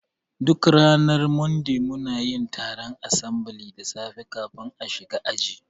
Duk ranar Monday munayin taron asambili da safe kafin a shiga aji